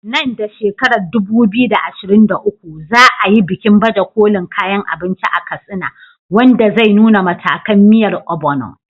Nan da shekarar 2023, za a yi bikin baje kolin kayan abinci a Katsina, wanda zai nuna matakan miyar Ogbono.